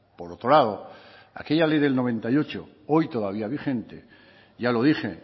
por otro lado aquella ley del noventa y ocho hoy todavía vigente ya lo dije